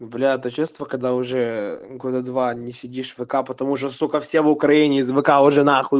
бля то чувство когда уже года два не сидишь в вк потому что сука все в украине из вк уже нахуй